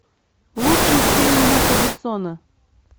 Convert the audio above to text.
лучший фильм люка бессона